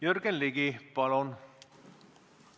Jürgen Ligi, palun!